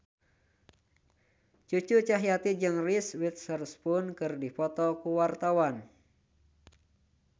Cucu Cahyati jeung Reese Witherspoon keur dipoto ku wartawan